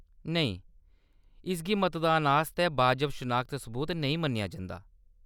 नेईं, इसगी मतदान आस्तै बाजव शनाखत सबूत नेईं मन्नेआ जंदा।